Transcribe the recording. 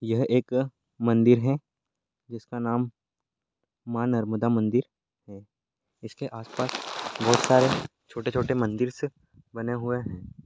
यह एक मंदिर है जिसका नाम माँ नर्मदा मंदिर है इसके आसपास बहुत सारे छोटे-छोटे मंदिरस् बने हुए हैं।